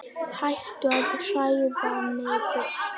Hættu að hræða mig burt.